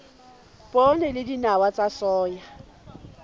poone le dinawa tsa soya